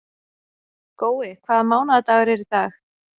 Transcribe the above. Gói, hvaða mánaðardagur er í dag?